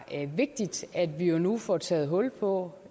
det er vigtigt at vi nu får taget hul på